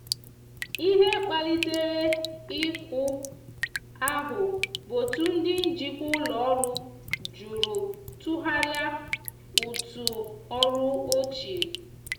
ihe kpalitere iku ahu bụ otụ ndi njikwa ụlọ ọrụ jụrụ tughari ụtụ ọrụ ochie.